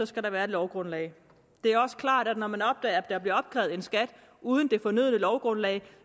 skal der være et lovgrundlag det er også klart at når man opdager at der bliver opkrævet skat uden det fornødne lovgrundlag